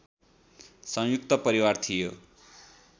सयुंक्त परिवार थियो